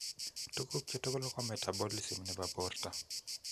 Tuguk chu tugul ko metabolism nebo borto